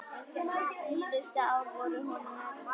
Síðustu ár voru honum erfið.